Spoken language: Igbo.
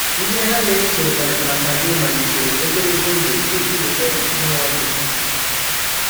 Ihe ha na-eche maka gị malitere ogologo oge tupu e mụọ gị.